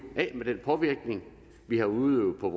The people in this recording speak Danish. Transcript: af med den påvirkning vi har udøvet på